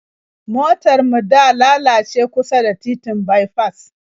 Motar mu da lalace kusa da titin baifas